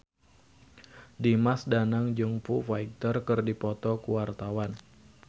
Dimas Danang jeung Foo Fighter keur dipoto ku wartawan